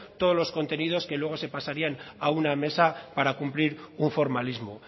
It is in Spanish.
todos los contenidos que luego se pasarían a una mesa para cumplir un formalismo